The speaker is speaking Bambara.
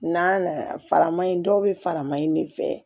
N'a nana faraman in dɔw bɛ faraman in de fɛ